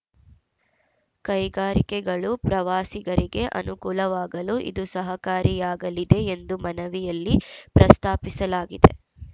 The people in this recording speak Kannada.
ಕೈಗಾರಿಕೆಗಳು ಪ್ರವಾಸಿಗರಿಗೆ ಅನುಕೂಲವಾಗಲು ಇದು ಸಹಕಾರಿಯಾಗಲಿದೆ ಎಂದು ಮನವಿಯಲ್ಲಿ ಪ್ರಸ್ತಾಪಿಸಲಾಗಿದೆ